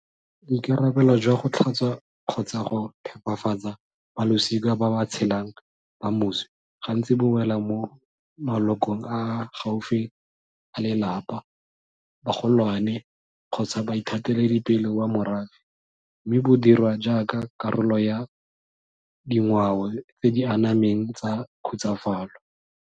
Boikarabelo jwa go tlhatswa kgotsa go phepafatsa balosika ba ba tshelang ba moswi gantsi bo wela mo malokong a a gaufi a lelapa, bagolwane kgotsa baithateledipele wa morafe mme bo dirwa jaaka karolo ya dingwao tse di anameng tsa khutsafalo.